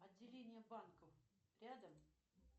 отделение банка рядом